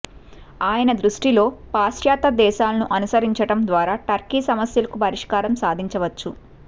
ఆయన దృష్టిలో పాశ్చాత్య దేశాలను అనుసరించడం ద్వారా టర్కీ సమస్యలకు పరిష్కారం సాధించవచ్చు